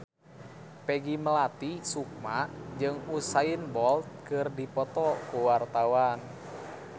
Peggy Melati Sukma jeung Usain Bolt keur dipoto ku wartawan